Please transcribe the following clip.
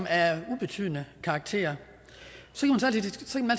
af ubetydelig karakter